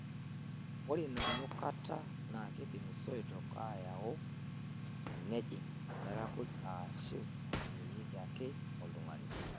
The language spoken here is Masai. Ore ina nukata naa keidim soito aayau tenejing' ilairakuj aashu einyieki ake oltung'ani.